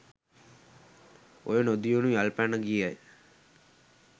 ඔය නොදියුණු යල් පැන ගිය